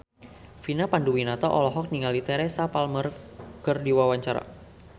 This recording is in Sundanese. Vina Panduwinata olohok ningali Teresa Palmer keur diwawancara